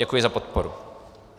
Děkuji za podporu.